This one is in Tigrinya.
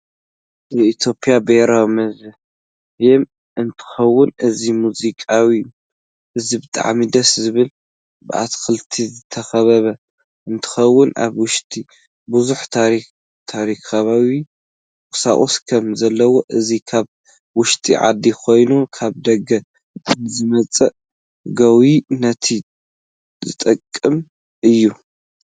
የኢትዮጵያ ብሄራዊ ሙዚያም እንትከውን እዚ ሙዚያም እዚ ብጣዓሚ ደስ ዝብል ብኣትክልቲ ዝተከበበ እንትከውን ኣብ ውሽጢ ብዝሕ ታሪከካዊ ቁሳቁስ ከም ዘለዉ እዚ ካብ ውሽጢ ዓዲ ይኩን ካብ ደገ ንዝመፁ ገውይ ነት ዝጠቅም እዩ።